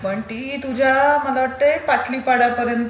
पण ती तुझ्या मला वाटते पाटली पाडा पर्यन्त...